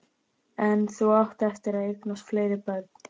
En þú átt eftir að eignast fleiri börn.